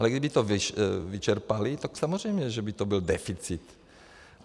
Ale kdyby to vyčerpali, tak samozřejmě, že by to byl deficit.